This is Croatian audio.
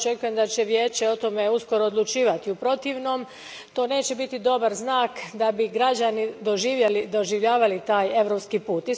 Ja očekujem da će Vijeće o tome uskoro odlučivati, u protivnom to neće biti dobar znak da bi građani doživljavali taj europski put.